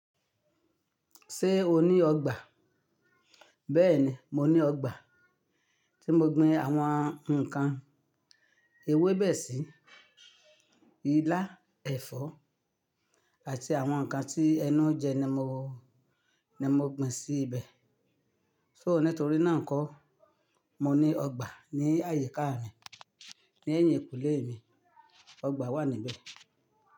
Ṣé o ní ọgbà? Bẹ́ẹ̀ni, mo ní ọgbà tí mo gbin àwọn nǹkan ewébẹ̀ sí, ilá, ẹ̀fọ́ àti àwọn nǹkan tí ẹnu jẹ ni mo, ni mo gbin sí ibẹ̀. Só ní torí náà kó, mo ní ọgbà ní àyíká mi, ní ẹ̀yìnkùlé mi, ọgbà wà níbẹ̀.